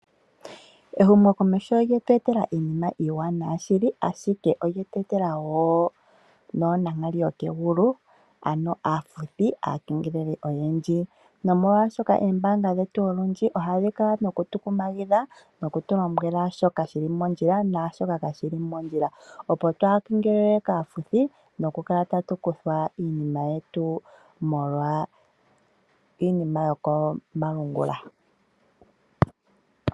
Ehumo komeho olyetu etela iinima iiwanawa shili, ashike olyeetwetela woo noo nankali yokegulu, ano aafuthi, aakengeleli oyendji nomolwashoka oombanga dhetu olundji ohadhi kala noku tu kumagidha noku tu lombwela shoka shili moondjila naashoka kashili mondjila, opo twaa kengelelwe kaafuthi noku kala tatu kuthwa iinima yetu molwa iinima yokomalungula.